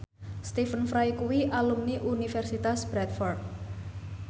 Stephen Fry kuwi alumni Universitas Bradford